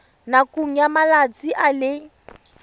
nakong ya malatsi a le